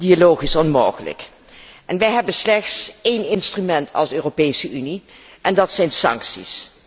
Dialoog is onmogelijk. Wij hebben slechts één instrument als Europese Unie en dat zijn sancties.